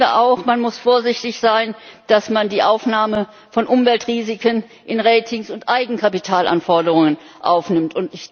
Ich finde auch, man muss vorsichtig sein, dass man die Aufnahme von Umweltrisiken in Ratings und Eigenkapitalanforderungen aufnimmt.